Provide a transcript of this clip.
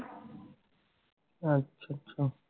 ਅੱਛਾ ਅੱਛਾ